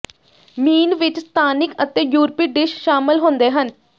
ਮੀਨ ਵਿੱਚ ਸਥਾਨਿਕ ਅਤੇ ਯੂਰਪੀ ਡਿਸ਼ ਸ਼ਾਮਲ ਹੁੰਦੇ ਹਨ